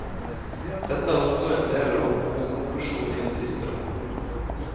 Dette er også endel av hovedkonklusjonen i den siste rapporten.